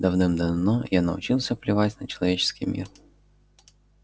давным-давно я научился плевать на человеческий мир